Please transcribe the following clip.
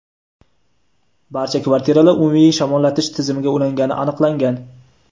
barcha kvartiralar umumiy shamollatish tizimiga ulangani aniqlangan.